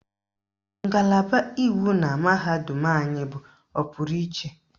Ngalaba iwu na mahadum anyị bụ ọpụrụ iche.